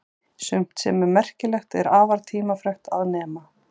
sumt sem er merkilegt er afar tímafrekt að nema